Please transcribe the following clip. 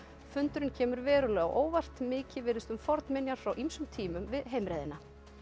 fundurinn kemur verulega á óvart mikið virðist um fornminjar frá ýmsum tímum við heimreiðina